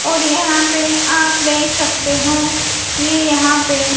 और यहां पे आप देख सकते हो ये यहां पे--